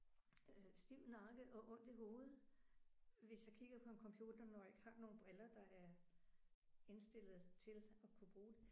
Øh stiv nakke og ondt i hovedet hvis jeg kigger på en computer når jeg ikke har nogle briller der er indstillet til at kunne bruge